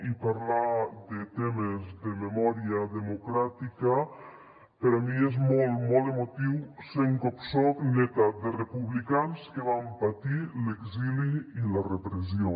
i parlar de temes de memòria democràtica per a mi és molt molt emotiu sent com soc neta de republicans que van patir l’exili i la repressió